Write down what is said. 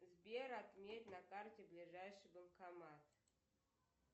сбер отметь на карте ближайший банкомат